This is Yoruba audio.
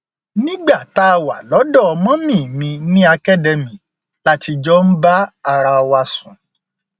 nígbà tá a wà lọdọ mummy mi ní academy la ti jọ ń bára wa sùn